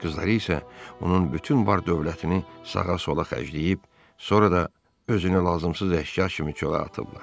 Qızları isə onun bütün var-dövlətini sağa-sola xərcləyib, sonra da özünü lazımsız əşya kimi çölə atıblar.